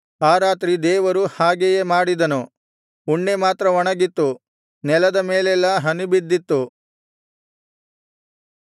ಆ ರಾತ್ರಿ ದೇವರು ಹಾಗೆಯೇ ಮಾಡಿದನು ಉಣ್ಣೆ ಮಾತ್ರ ಒಣಗಿತ್ತು ನೆಲದ ಮೇಲೆಲ್ಲಾ ಹನಿ ಬಿದ್ದಿತ್ತು